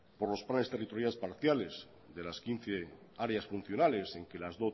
por los planes territoriales parciales de las quince áreas funcionales en que las